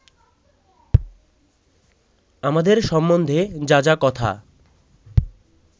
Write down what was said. আমাদের সম্বন্ধে যা যা কথা